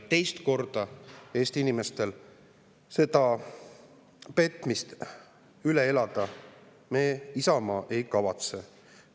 Teist korda Eesti inimestel seda petmist üle elada lasta Isamaa ei kavatse.